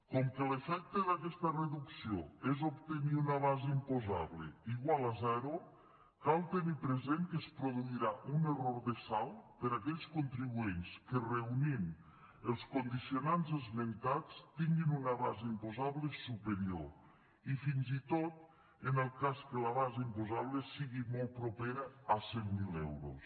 com que l’efecte d’aquesta reducció és obtenir una base imposable igual a zero cal tenir present que es produirà un error de saldo per a aquells contribuents que reunint els condicionants esmentats tinguin una base imposable superior i fins i tot en el cas que la base imposable sigui molt propera a cent miler euros